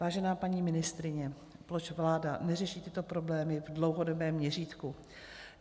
Vážená paní ministryně, proč vláda neřeší tyto problémy v dlouhodobém měřítku?